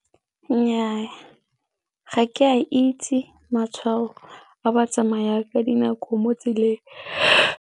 Nnyaa, ga ke a itse matshwao a batsamaya ka dinako mo tseleng.